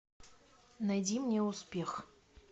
найди мне успех